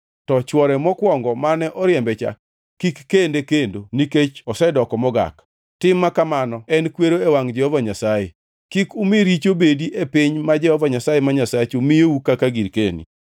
to chwore mokwongo mane oriembe cha kik kende kendo nikech osedoko mogak. Tim ma kamano en kwero e wangʼ Jehova Nyasaye. Kik umi richo bedi e piny ma Jehova Nyasaye ma Nyasachu miyou kaka girkeni.